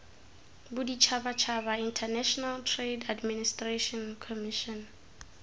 boditshabatshaba international trade administration commission